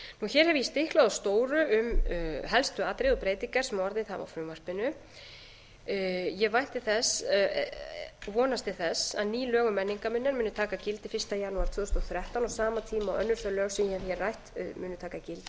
hér hef ég stiklað á stóru um helstu atriði og breytingar sem orðið hafa á frumvarpinu ég vonast til þess að ný lög um menningarminjar muni taka gildi fyrsta janúar tvö þúsund og þrettán á sama tíma og önnur þau lög sem ég hef hér rætt munu taka gildi